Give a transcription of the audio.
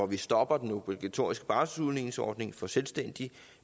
vi stopper den obligatoriske barselsudligningsordning for selvstændige